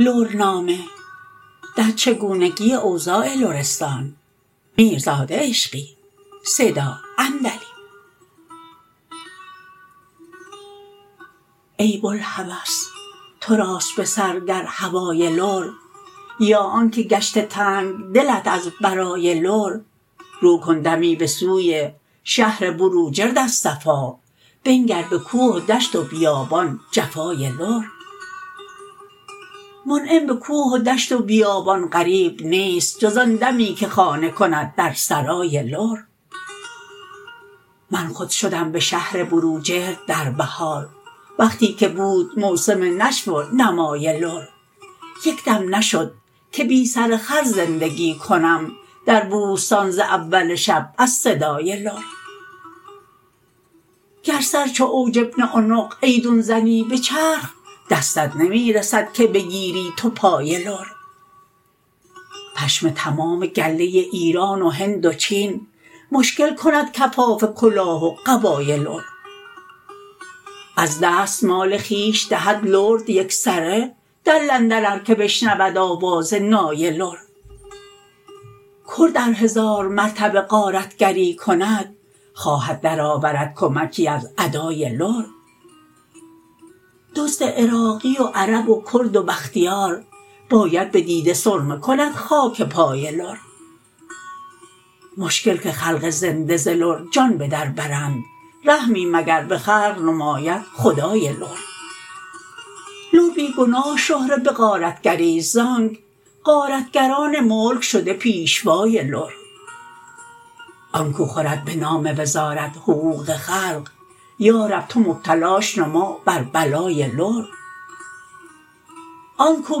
ای بلهوس تراست به سر گر هوای لر یا آن که گشته تنگ دلت از برای لر رو کن دمی به سوی شهر بروجرد از صفا بنگر به کوه و دشت و بیابان جفای لر منعم به کوه و دشت و بیابان غریب نیست جز آن دمی که خانه کند در سرای لر من خود شدم به شهر بروجرد در بهار وقتی که بود موسم نشو و نمای لر یک دم نشد که بی سر خر زندگی کنم در بوستان ز اول شب از صدای لر گر سر چو عوج بن عنق ایدون زنی به چرخ دستت نمی رسد که بگیری تو پای لر پشم تمام گله ایران و هند و چین مشکل کند کفاف کلاه و قبای لر از دست مال خویش دهد لرد یکسره در لندن ار که بشنود آواز نای لر کرد ار هزار مرتبه غارتگری کند خواهد درآورد کمکی از ادای لر دزد عراقی و عرب و کرد و بختیار باید به دیده سرمه کند خاک پای لر مشکل که خلق زنده ز لر جان به در برند رحمی مگر به خلق نماید خدای لر لر بی گناه شهره به غارتگری ست ز آنک غارتگران ملک شده پیشوای لر آنکو خورد به نام وزارت حقوق خلق یارب تو مبتلاش نما بر بلای لر آنکو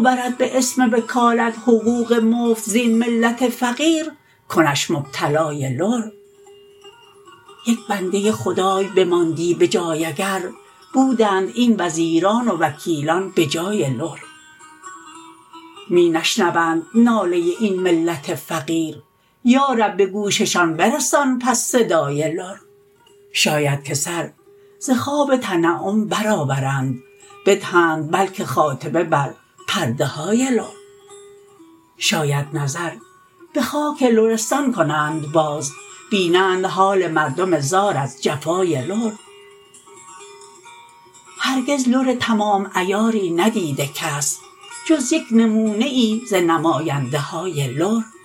برد به اسم وکالت حقوق مفت زین ملت فقیر کنش مبتلای لر یک بنده خدای بماندی به جای اگر بودند این وزیر و وکیلان به جای لر می نشنوند ناله این ملت فقیر یارب به گوششان برسان پس صدای لر شاید که سر ز خواب تنعم برآورند بدهند بلکه خاتمه بر پرده های لر شاید نظر به خاک لرستان کنند باز بینند حال مردم زار از جفای لر هرگز لر تمام عیاری ندیده کس جز یک نمونه ای ز نماینده های لر